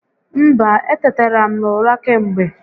Mba, etetara m n'ụra kemgbe